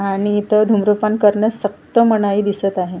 आणि इथं धूम्रपान करण्यास सक्त मनाई दिसत आहे.